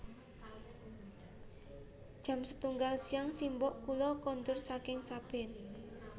Jam setunggal siang simbok kula kondur saking sabin